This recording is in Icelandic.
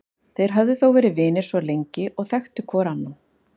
Þeir höfðu þó verið vinir svo lengi og þekktu hvor annan.